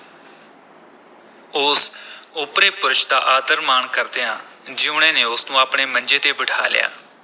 ਉਸ ਓਪਰੇ ਪੁਰਸ਼ ਦਾ ਆਦਰ-ਮਾਣ ਕਰਦਿਆਂ ਜੀਊਣੇ ਨੇ ਉਸ ਨੂੰ ਆਪਣੇ ਮੰਜੇ ’ਤੇ ਬਿਠਾ ਲਿਆ।